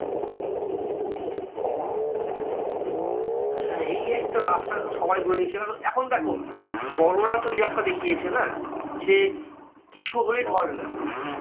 হ্যাঁ এই একটা রাস্তা এখন সবাই ধরে নিয়েছে। কারণ এখন দেখো বড়োরা তো এই রাস্তা দেখিয়েছে না? যে কিছু হলেই ধর্ণা।